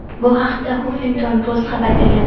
Bu haqda "Huffington Post" xabar bergan.